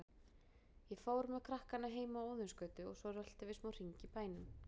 Ég fór með krakkana heim á Óðinsgötu og svo röltum við smá hring í bænum.